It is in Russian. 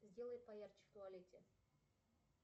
сделай поярче в туалете